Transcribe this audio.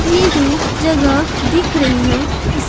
यह जो जगह दिख रही है इस--